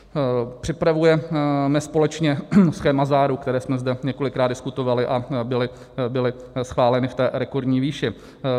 Připravujeme společně schéma záruk, které jsme zde několikrát diskutovali a byly schváleny v té rekordní výši.